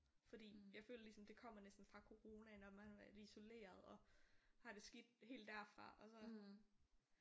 Fordi jeg føler ligesom det kommer næsten fra corona når man har været isolereret og har det skidt helt derfra